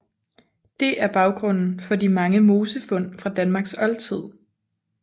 Det er baggrunden for de mange mosefund fra Danmarks oldtid